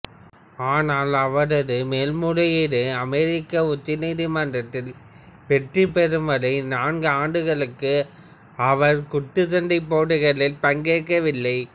ஆனால் அவரது மேல்முறையீடு அமெரிக்க உச்சநீதிமன்றத்தில் வெற்றி பெறும் வரை நான்கு ஆண்டுகளுக்கு அவர் குத்துச்சண்டை போட்டிகளில் பங்கேற்கவில்லை